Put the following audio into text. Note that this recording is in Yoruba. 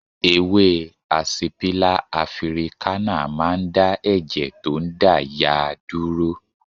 Ewé àsìpílà afirikánà máa ń dá ẹ̀jẹ̀ tó ń dà yàà dúró